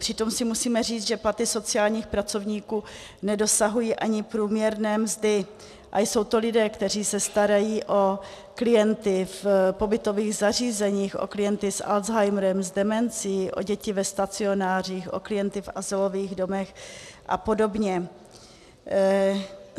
Přitom si musíme říct, že platy sociálních pracovníků nedosahují ani průměrné mzdy, a jsou to lidé, kteří se starají o klienty v pobytových zařízeních, o klienty s Alzheimerem, s demencí, o děti ve stacionářích, o klienty v azylových domech a podobně.